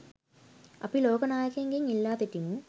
අපි ලෝක නායකයින්ගෙන් ඉල්ලා සිටිමු.